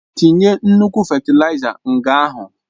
Tinye nnukwu fétilaiza nga ahụ!